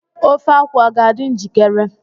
the ofe akwu be ready yet?